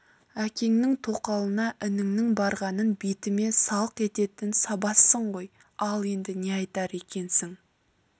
әкеңнің тоқалына ініңнің барғанын бетіме салық ететін сабазсың ғой ал енді не айтар екенсің